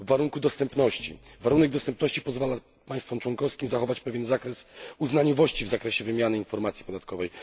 warunku dostępności. Warunek dostępności pozwala państwom członkowskim zachować pewien zakres uznaniowości w zakresie wymiany informacji podatkowej.